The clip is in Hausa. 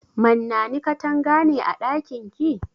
Mannani katanga ne a ɗakin ki?